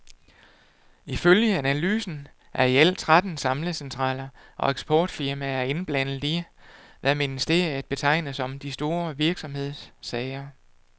Ifølge analysen er i alt tretten samlecentraler og eksportfirmaer indblandet i, hvad ministeriet betegner som de store virksomhedssager.